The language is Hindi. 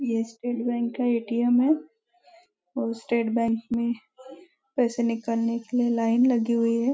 यह स्टेट बैंक का ए.टी.एम. है और स्टेट बैंक में पैसे निकालने के लिए लाइन लगी हुई है।